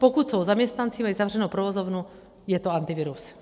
Pokud jsou zaměstnanci, mají zavřenou provozovnu, je to Antivirus.